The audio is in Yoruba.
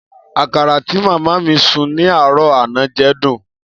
Akara ti mama mi sun ni aro ana je dun.